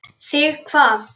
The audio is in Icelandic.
Þig hvað?